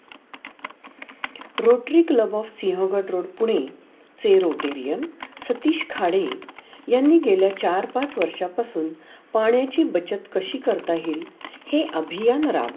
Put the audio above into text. rortery club of sea of Sinhagad road Pune सेरोटीरियल सतीश खाडे यांनी गेल्या चार पाच वर्षा पासुन पाण्याची बचत कशी करता येईल हे अभीयान राहून.